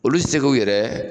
Olu tɛ se k'u yɛrɛ